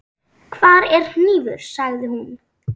Hvar er hnífur, sagði hún.